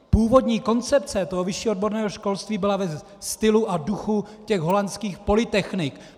Původní koncepce toho vyššího odborného školství byla ve stylu a duchu těch holandských polytechnik.